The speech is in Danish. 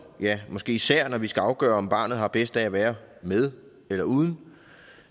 ja måske især når vi skal afgøre om barnet har bedst af at være med eller uden